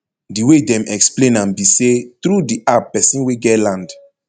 di way dem explain am be say through di app pesin wey get land